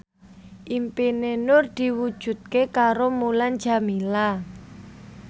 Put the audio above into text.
impine Nur diwujudke karo Mulan Jameela